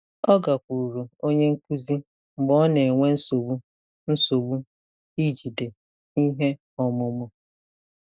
Ọ gakwuuru onye nkuzi mgbe ọ na-enwe nsogbu nsogbu ijide ihe ọmụmụ.